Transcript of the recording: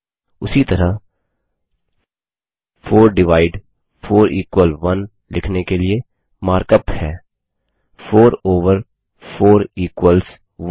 उसी तरह 4 divide 4 equal 1 लिखने के लिए मार्क अप है 4 ओवर 4 इक्वल्स 1